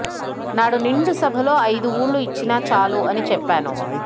నాడు నిండు సభలో ఐదు ఊళ్ళు ఇచ్చినా చాలు అని చెప్పాను